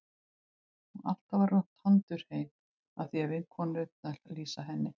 Og alltaf var hún tandurhrein að því er vinkonurnar lýsa henni.